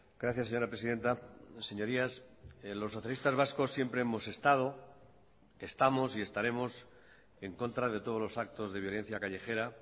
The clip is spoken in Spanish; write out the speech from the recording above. gracias señora presidenta señorías los socialistas vascos siempre hemos estado estamos y estaremos en contra de todos los actos de violencia callejera